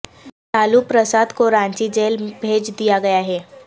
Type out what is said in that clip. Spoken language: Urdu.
لالو پرساد کو رانچی جیل بھیج دیا گیا ہے